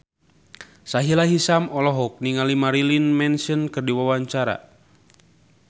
Sahila Hisyam olohok ningali Marilyn Manson keur diwawancara